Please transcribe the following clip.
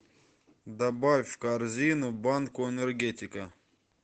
добавь в корзину банку энергетика